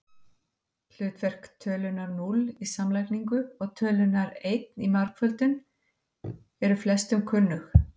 Hlutverk tölunnar núll í samlagningu og tölunnar einn í margföldun eru flestum kunnug.